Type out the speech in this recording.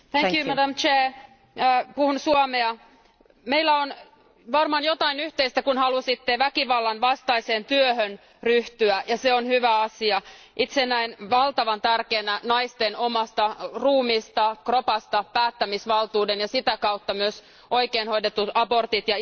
Arvoisa puhemies, puhun suomea. Meillä on varmaan jotain yhteistä, kun halusitte väkivallan vastaiseen työhön ryhtyä, ja se on hyvä asia. Itse näen valtavan tärkeänä naisten omasta ruumista, kropasta, päättämisvaltuuden, ja sitä kautta myös oikein hoidetut abortit.